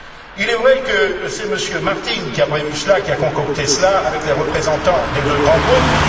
Il est vrai que c'est M. Martin qui a prévu cela, qui a concocté cela, avec les représentants des deux grands groupes.